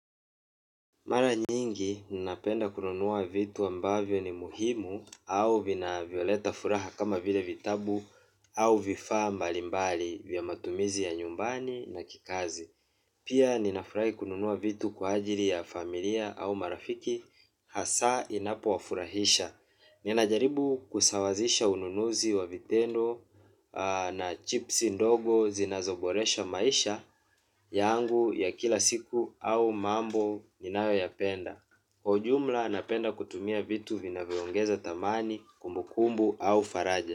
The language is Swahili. Mara nyingi ninapenda kununua vitu ambavyo ni muhimu au vinavyoleta furaha kama vile vitabu au vifaa mbalimbali vya matumizi ya nyumbani na kikazi. Pia ninafurahi kununua vitu kwa ajili ya familia au marafiki hasa inapo wafurahisha. Ninajaribu kusawazisha ununuzi wa vitendo na chipsi ndogo zinazoboresha maisha yangu ya kila siku au mambo ninayo yapenda. Kwa ujumla napenda kutumia vitu vinavyoongeza thamani kumbukumbu au faraja.